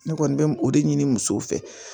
Ne kɔni bɛ o de ɲini musow fɛ